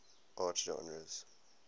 art genres